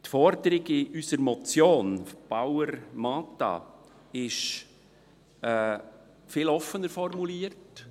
Die Forderung in unserer Motion Bauer/Mentha ist viel offener formuliert.